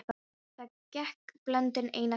Þá gekk bóndinn einn að slætti.